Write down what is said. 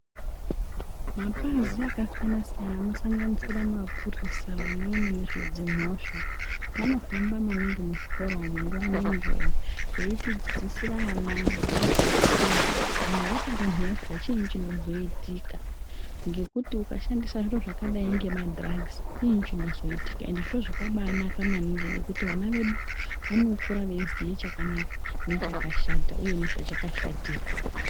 Mapazi akasiyana siyana, anosanganisira maphurisa, vanowona nezvedzimhosva vanohamba maningi muzvikora umo nguva nenguva betidzidzisira ana ngezvekuti kana wapare mhosva chini chinozoitika ngekuti ukashandisa zviro zvakadai kunge madirugisi ,chii chinozoitika. Ende zviro zvaka banaka maningi nekuti ana vedu vanokure veyiziva chakanaka nechakashata ,uye nezvachakashatira.